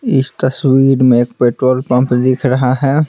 इस तस्वीर में एक पेट्रोल पंप दिख रहा है।